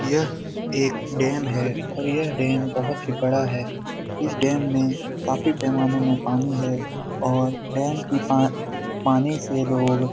यह एक डेम है और यह डेम बहुत बड़ा है | इस डेम मे काफी पैमाने में पानी है और डेम के पा -- पानी से लोग --